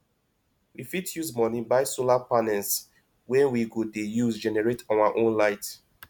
we fit use moni buy solar panels wey we go de use generate our own light